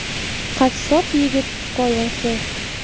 Qassob yigit hikoyasi.